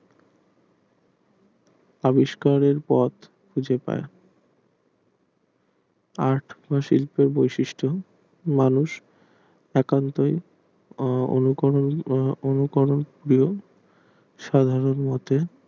আবিষ্কারের পথ খুঁজে পায় আর্ট শিল্প বৈশিষ্ট মানুষ একান্ত অনুকরণ উম অনুকরণ করে সাধারণ মতো